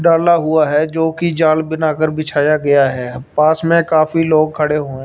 डाला हुआ है जोकि जाल बनाकर बिछाया गया है पास मे काफी लोग खड़े हुए--